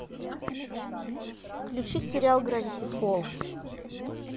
включи сериал гравити фолз